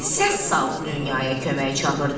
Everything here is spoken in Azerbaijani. səs saldı dünyaya kömək çağırırdı.